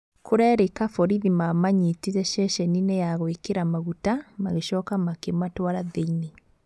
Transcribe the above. Kũrerĩka borithi mamanyitire ceceni-inĩ ya gwĩkĩra maguta magĩcoka makĩmatwara thĩ-inĩ.